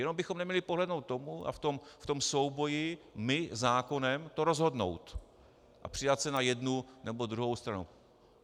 Jenom bychom neměli podlehnout tomu a v tom souboji my zákonem to rozhodnout a přidat se na jednu nebo druhou stranu.